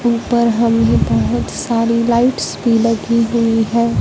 उपर हमें बहोत सारी लाइट्स भी लगी हुई हैं।